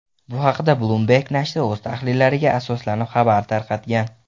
Bu haqda Bloomberg nashri o‘z tahlillariga asoslanib xabar tarqatgan .